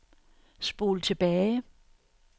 spol tilbage